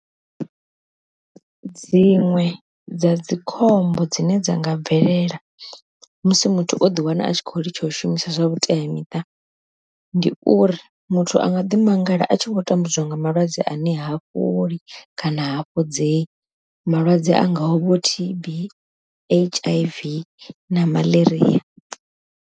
Dziṅwe dza dzikhombo dzine dza nga bvelela musi muthu o ḓi wana a tshikho litsha u shumisa zwa vhuteamiṱa, ndi uri muthu anga ḓi mangala a tshi khou tambudzwa nga malwadze ane ha fholi kana hafhodzei malwadze angaho vho T_B, H_I_V na Maḽaria.